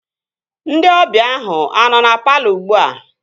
Ndị ọbịa ahụ anọ na palọ ugbua?